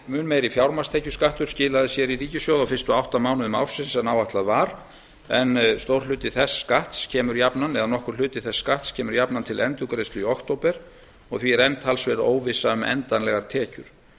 mun meiri fjármagnstekjuskattur skilaði sér í ríkissjóð á fyrstu átta mánuðum ársins en áætlað var en nokkur hluti þess skatts kemur jafnan til endurgreiðslu í október og því er enn talsverð óvissa um endanlegar tekjur